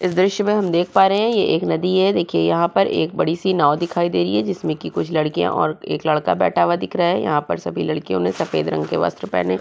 इस दृश्य में हम देख पा रहे हैं ये एक नदी है देखिये यहाँ पर एक बड़ी-सी नाव दिखाई दे रही है जिसमें की कुछ लड़कियां और एक लड़का बैठा हुआ दिख रहा है यहाँ पर सभी लड़कियों ने सफ़ेद रंग के वस्त्र पहने --